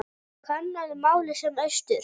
Kannaðu málið sem austur.